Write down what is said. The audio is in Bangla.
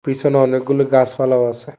পিসনে অনেকগুলো গাসপালা আসে।